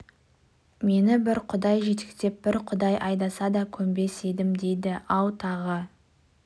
мені бір құдай жетектеп бір құдай айдаса да көнбес едім дейді ау тағы